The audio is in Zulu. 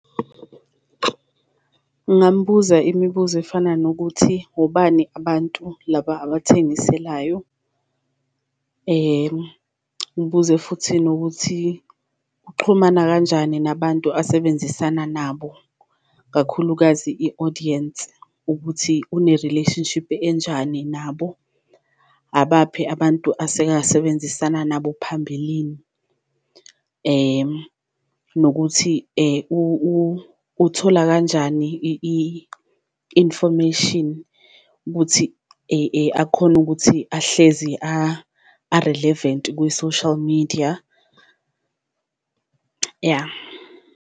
Ngambuza imibuzo efana nokuthi, ubani abantu laba abathengiselayo? Ngibuze futhi nokuthi, uxhumana kanjani nabantu asebenzisana nabo, kakhulukazi i-audience ukuthi une-relationship enjani nabo? Abaphi abantu aseke asebenzisana nabo phambilini? Nokuthi, uthola kanjani i-information ukuthi akhone ukuthi ahlezi a-relevant kwi-social media? Ya.